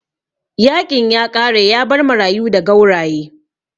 Yaƙin ya ƙare yabar marayu da gauraye